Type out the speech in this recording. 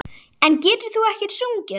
En getur þú ekkert sungið?